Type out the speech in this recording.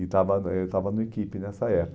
E estava eh eu estava no equipe nessa época.